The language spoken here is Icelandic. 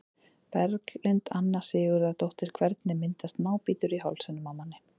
Berglind Anna Sigurðardóttir Hvernig myndast nábítur í hálsinum á manni?